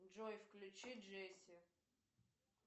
джой включи джесси